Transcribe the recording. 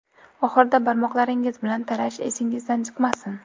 Oxirida barmoqlaringiz bilan tarash esingizdan chiqmasin.